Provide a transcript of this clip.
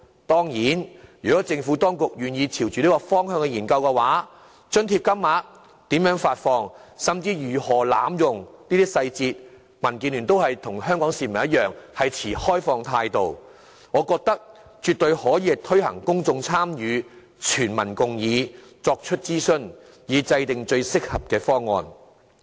當然，如果政府當局願意朝着這個方向去研究津貼金額、如何發放，甚至如何防止濫用津貼等的相關細節的話，民建聯與香港市民同樣會持開放態度，我認為絕對可以作出諮詢，邀請公眾參與，取得全民共議，以制訂最合適的方案。